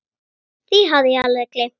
Því hafði ég alveg gleymt.